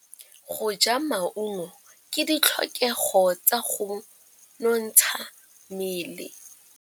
Go ja maungo ke ditlhokegô tsa go nontsha mmele.